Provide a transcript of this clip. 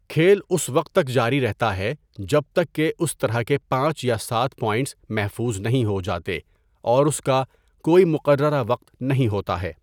کھیل اس وقت تک جاری رہتا ہے جب تک کہ اس طرح کے پانچ یا سات پوائنٹس محفوظ نہیں ہو جاتے اور اس کا کوئی مقررہ وقت نہیں ہوتا ہے۔